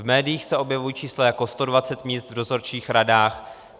V médiích se objevují čísla jako 120 míst v dozorčích radách.